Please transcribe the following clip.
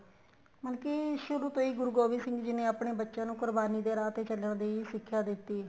ਮਤਲਬ ਕੀ ਸ਼ੁਰੂ ਤੋ ਹੀ ਗੁਰੂ ਗੋਬਿੰਦ ਸਿੰਘ ਜੀ ਨੇ ਆਪਣੇ ਬੱਚਿਆ ਨੂੰ ਕੁਰਬਾਨੀ ਦੇ ਰਾਹ ਤੇ ਚੱਲਣ ਦੀ ਸਿੱਖਿਆ ਦਿੱਤੀ